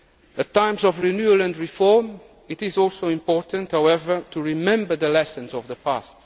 Union. At times of renewal and reform, it is also important, however, to remember the lessons of